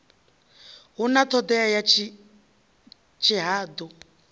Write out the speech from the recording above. hu na ṱhodea ya tshihaḓu